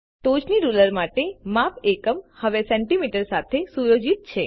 ટોચની રૂલર માટે માપ એકમ હવે સેન્ટીમીટર સાથે સુયોજિત છે